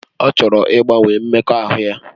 Ọ chọrọ ịgbanwe mmekọahụ ya